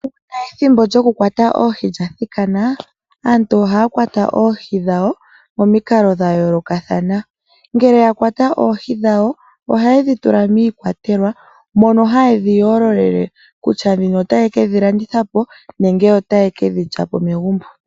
Shampa ethimbo lyokukwata oohi lya thikana, aantu ohaya kwata oohi dhawo momikalo dhayoolokathana. Ngele yakwata oohi dhawo, ohayedhi tula miikwatelwa mono hayedhi yoololele, kutya ndhino otayekedhi landitha po, nenge otaye kedhi lyapo megumbo.